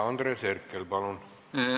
Andres Herkel, palun!